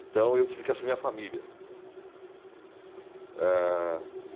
Então eu tive que assumir a família. Eh...